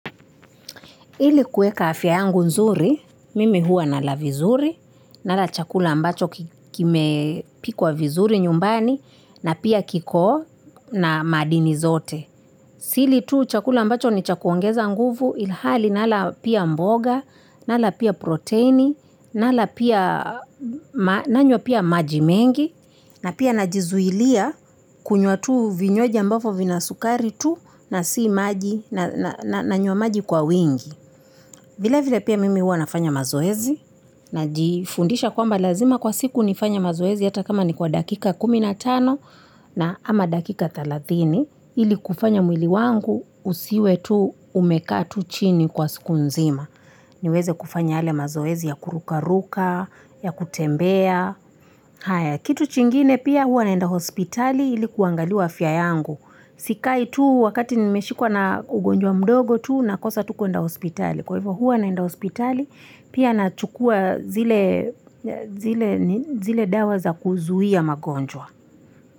Ili kuweka afya yangu nzuri, mimi huwa nalavizuri, nalachakula ambacho kime pikwa vizuri nyumbani, na pia kiko na madini zote. Sili tu chakula ambacho ni chakuongezanguvu, ilhali nalapia mboga, nalapia proteni, nalapia maji mengi, na pia na jizulia kunywa tu vinywajji ambovyo vinasukari tu na si maji, na nyuwa maji kwa wingi. Vila vila pia mimi huwa na fanya mazoezi, na jifundisha kwa lazima kwa siku ni fanya mazoezi yata kama ni kwa dakika kuminatano na ama dakika thalathini. Ili kufanya mwili wangu usiwe tu umekaa tu chini kwa siku nzima. Ni uweze kufanya yale mazoezi ya kuru karuka, ya kutembea. Kitu chingine pia huwa naenda hospitali ilikuwangaliwa afya yangu. Sikai tu wakati ni meshikwa na ugonjwa mdogo tu na kosa tu kwenda hospitali. Kwaivyo huwa naenda hospitali, pia na chukua zile dawa za kuzuwia magonjwa.